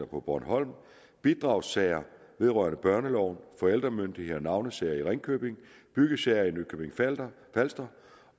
på bornholm bidragssager vedrørende børneloven forældremyndighed og navnesager i ringkøbing byggesager i nykøbing falster falster